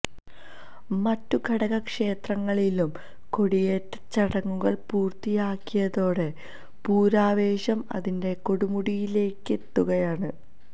മറ്റ് ഘടക ക്ഷേത്രങ്ങളിലും കൊടിയെറ്റം ചടങ്ങുകള് പൂര്ത്തിയായതോടെ പൂരാവേശം അതിന്റെ കൊടുമുടിയിലേക്കെത്തുകയാണ്